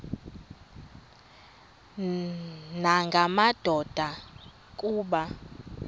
nanga madoda kuba